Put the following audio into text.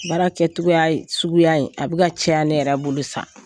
Baara kɛcogoya in suguya in, a bɛ ka caya ne yɛrɛ bolo sisaan.